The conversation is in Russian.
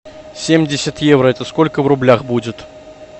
семьдесят евро это сколько в рублях будет